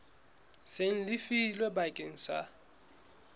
seng le lefilwe bakeng sa